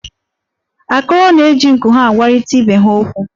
Akọrọ na-eji nku ya agwarịta ibe ha okwu.